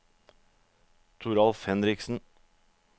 Toralf Henriksen